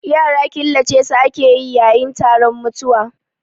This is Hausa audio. Yara killace su ake yayi taron mutuwa